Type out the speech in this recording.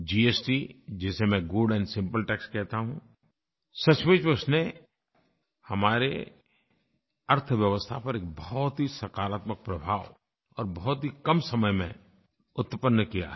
GST जिसे मैं good and simple tax कहता हूँ सचमुच में उसने हमारी अर्थव्यवस्था पर एक बहुत ही सकारात्मक प्रभाव और बहुत ही कम समय में उत्पन्न किया है